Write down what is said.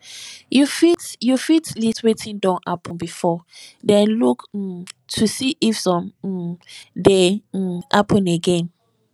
you fit you fit list wetin don happen before then look um to see if some um dey um happen again